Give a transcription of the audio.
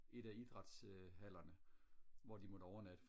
et af idræts øh hallerne hvor de måtte overnatte